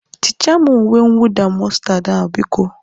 Tichaa m uwe mwụda mọstad a, biko?